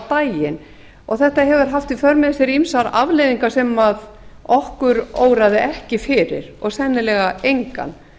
daginn og þetta hefur haft í för með sér ýmsar afleiðingar sem okkur óraði ekki fyrir og sennilega engan